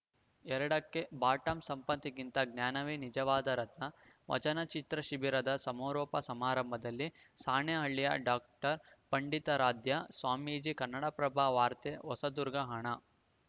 ಎರಡಕ್ಕೆಬಾಟಮ್‌ಸಂಪತ್ತಿಗಿಂತ ಜ್ಞಾನವೇ ನಿಜವಾದ ರತ್ನ ವಚನಚಿತ್ರ ಶಿಬಿರದ ಸಮಾರೋಪ ಸಮಾರಂಭದಲ್ಲಿ ಸಾಣೇಹಳ್ಳಿಯ ಡಾಕ್ಟರ್ ಪಂಡಿತಾರಾಧ್ಯ ಸ್ವಾಮೀಜಿ ಕನ್ನಡಪ್ರಭ ವಾರ್ತೆ ಹೊಸದುರ್ಗ ಹಣ